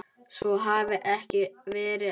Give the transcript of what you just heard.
Svo hafi ekki verið áður.